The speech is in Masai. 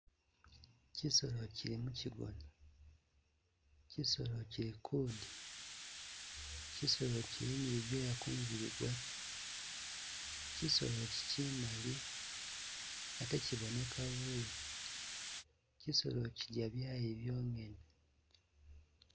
Kyisolo kyili mukyigona, kyisolo kyili kudya, kyisolo kyili ni bi byoya kumubili gwakyo, kyisolo ikyi kyimali ate kyiboneka bubi, kyisolo kyilya byayi byonyene.